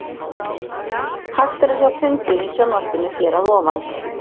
Hægt er að sjá fundinn í sjónvarpinu hér að ofan.